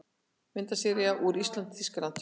Myndasería úr ÍSLAND- Þýskaland